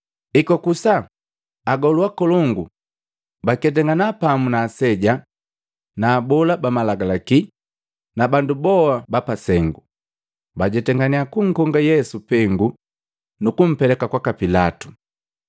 Ekwakusa, agolu akolongu baketangana pamu na aseja, na abola ba malagalaki na bandu boa ba pasengu bajetangannya kunkonga Yesu pengu nu kumpeleka kwaka Pilatu.